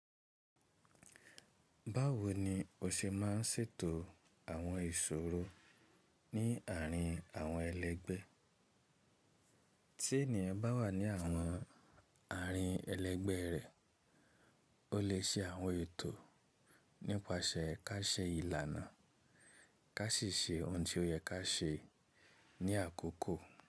Báwo ni o ṣe máa n ṣètò àwọn ìṣòro ní àárín àwọn ẹlẹ́gbẹ́? Tí ènìyàn bá wà ní àwọn àárín ẹlẹ́gbẹ́ rẹ, ó lè ṣe àwọn ètò nípasẹ̀ ká ṣẹ ìlànà, ká sì ṣe ohun tí ó yẹ ká ṣe ní àkọ́kọ́.